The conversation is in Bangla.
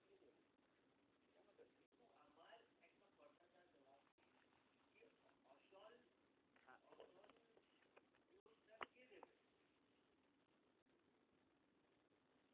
কিন্তু আমার একটা কথাটার জবাব দিন কে দিবে